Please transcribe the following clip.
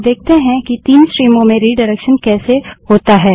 अब देखते है कि 3 स्ट्रीमों में रिडाइरेक्शन कैसे होता है